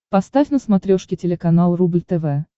поставь на смотрешке телеканал рубль тв